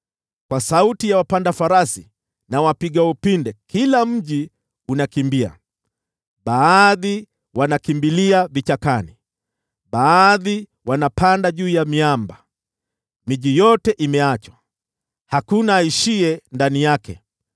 Kwa sauti ya wapanda farasi na wapiga upinde kila mji unakimbia. Baadhi wanakimbilia vichakani, baadhi wanapanda juu ya miamba. Miji yote imeachwa, hakuna aishiye ndani yake.